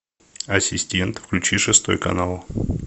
ассистент включи шестой канал